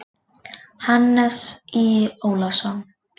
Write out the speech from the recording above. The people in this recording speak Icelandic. Hannes Í. Ólafsson.